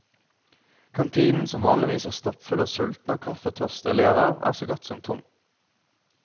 Kantinen, som vanligvis er stappfull av sultne og kaffetørste elever, er så godt som tom.